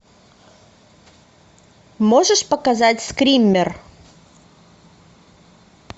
можешь показать скример